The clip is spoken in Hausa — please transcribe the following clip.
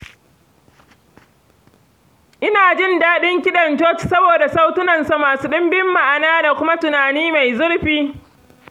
Ina jin daɗin kiɗan coci saboda sautunansa masu ɗimbin ma’ana da kuma tunani mai zurfi.